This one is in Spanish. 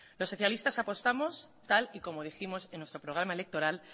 los socialistas apostamos tal y como dijimos en nuestro programa electoral